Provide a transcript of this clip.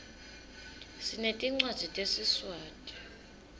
sinetincwadzi tesiswati